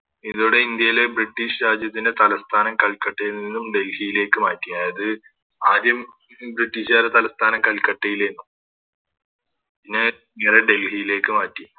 ഇവിടെ ഇന്ത്യയിലെ ബ്രിട്ടീഷ് രാജ്യത്തിൻറെ തലസ്ഥാനം കൽക്കട്ടയിൽ നിന്നും ഡൽഹിയിലേക്ക് മാറ്റി അതായത് ആദ്യം ഇത് ബ്രിട്ടീഷുകാരുടെ തലസ്ഥാനം കൽക്കട്ടയിലെന്നു പിന്നെ അഹ് ഡൽഹിയിലേക്ക് മാറ്റി